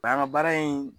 An ka baara in